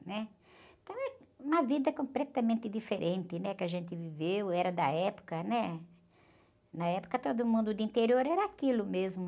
né? Então é uma vida completamente diferente, né? Que a gente viveu, era da época, né? Na época todo mundo do interior era aquilo mesmo.